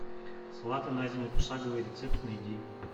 салаты на зиму пошаговый рецепт найди